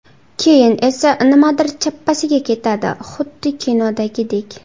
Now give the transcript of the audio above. Keyin esa nimadir chappasiga ketadi, xuddi kinodagidek.